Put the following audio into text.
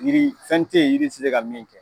Jiri , fɛn te yen jiri ti se ka min kɛ.